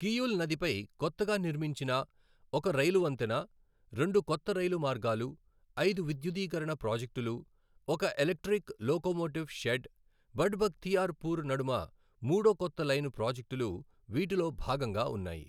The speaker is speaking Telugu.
కియుల్ నదిపై కొత్తగా నిర్మించిన ఒక రైలు వంతెన, రెండు కొత్త రైలు మార్గాలు, ఐదు విద్యుదీకరణ ప్రాజెక్టులు, ఒక electric locomotive shed, Barh Bakhtiyarpur నడుమ మూడో కొత్త లైను ప్రాజెక్టులు వీటిలో భాగంగా ఉన్నాయి.